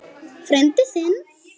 Frændi þinn?